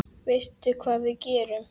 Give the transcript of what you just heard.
Veistu hvað við gerum?